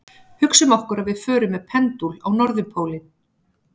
Hugsum okkur að við förum með pendúl á norðurpólinn.